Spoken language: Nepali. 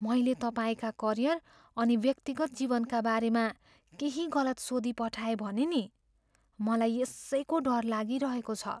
मैले तपाईँका करियर अनि व्यक्तिगत जीवनका बारेमा केही गलत सोधिपठाएँ भने नि? मलाई यसैको डर लागिरहेको छ।